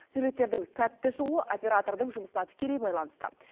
сюжеттердің сәтті шығуы оператордың жұмысына тікелей байланысты